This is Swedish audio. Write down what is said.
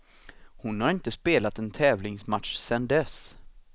Hon har inte spelat en tävlingsmatch sedan dess.